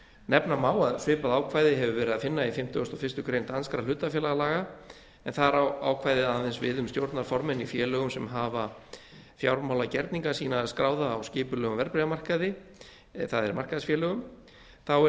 nefna má að svipað ákvæði hefur verið að finna í fimmtugasta og fyrstu grein danskra hlutafélagalaga en þar á ákvæðið aðeins við um stjórnarformenn í félögum sem hafa fjármálagerninga sína skráða á skipulegum verðbréfamarkaði það er markaðsfélögum þá er